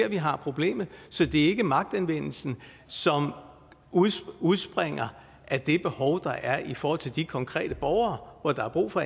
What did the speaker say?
vi har problemet så det er ikke magtanvendelsen som udspringer af det behov der er i forhold til de konkrete borgere hvor der er brug for